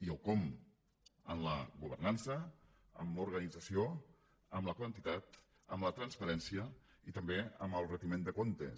i el com amb la governança amb l’organització amb la quantitat amb la transparència i també amb el retiment de comptes